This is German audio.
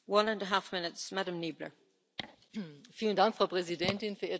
Frau Präsidentin, verehrte Frau Kommissionspräsidentin, Herr Ratspräsident!